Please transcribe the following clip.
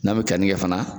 N'an bɛ keninke fana